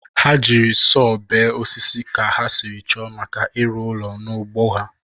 Ha jiri sọọ bee osisi ka ha sịrị chọọ maka ịrụ ụlọ n'ugbo ha.